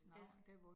Ja